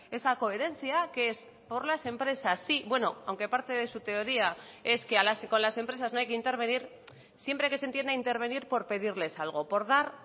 esa coherencia que es por las empresas sí bueno aunque parte de su teoría es que a las y con las empresas no hay que intervenir siempre que se entienda intervenir por pedirles algo por dar